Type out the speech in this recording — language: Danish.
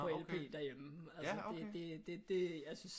På LP derhjemme altså det det jeg synes